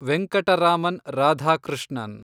Venkataraman Radhakrishnan